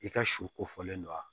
I ka su ko fɔlen don wa